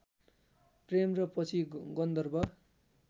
प्रेम र पछि गन्धर्व